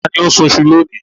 Ta ni ó ń sun iṣu lónìí?